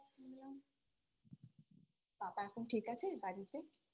শুনলাম পাপা এখন ঠিক আছে বাড়িতে